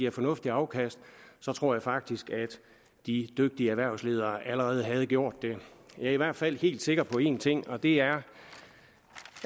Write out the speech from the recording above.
et fornuftigt afkast tror jeg faktisk at de dygtige erhvervsledere allerede havde gjort det jeg er i hvert fald helt sikker på en ting og det er